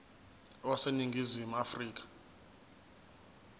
wase ningizimu afrika